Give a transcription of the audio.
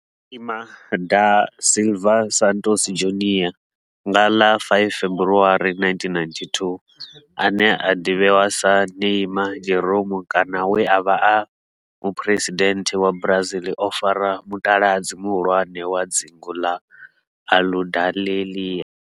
Neymar da Silva Santos Junior, nga ḽa 5 February 1992, ane a ḓivhiwa sa Ne'ymar' Jeromme kana we a vha e muphuresidennde wa Brazil o fara mutaladzi muhulwane wa dzingu la Aludalelia.